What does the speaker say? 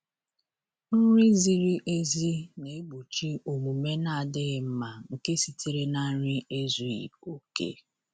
Nri ziri ezi na-egbochi omume n'adịghị mma nke sitere na nri ezughi oke.